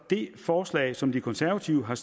det forslag som de konservative har